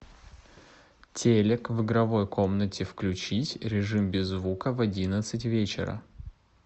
телек в игровой комнате включить режим без звука в одиннадцать вечера